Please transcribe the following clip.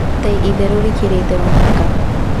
" ta 'itherũ rĩkĩrĩte mũhaka."